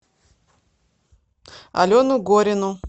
алену горину